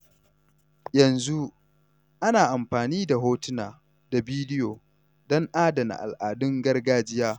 Yanzu, ana amfani da hotuna da bidiyo don adana al’adun gargajiya.